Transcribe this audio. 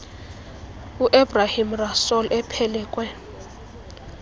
uebrahim rasool ephelekwe